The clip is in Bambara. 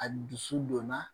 A dusu donna